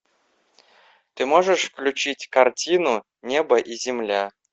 ты можешь включить картину небо и земля